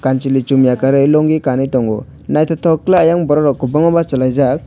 junui chujngai kanei lungi kanei tongo nythotok ke eiang borok rok kwbangma bachalaijak.